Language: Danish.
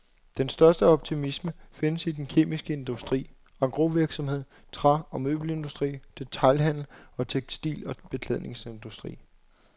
Den største optimisme findes i den kemiske industri, engrosvirksomhed, træ- og møbelindustri, detailhandel og tekstil- og beklædningsindustri.